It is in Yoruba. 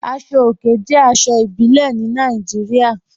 Aṣọ̀ ọ̀kè jẹ́ aṣọ̀ ìbílẹ̀ ní Nàìjíríà.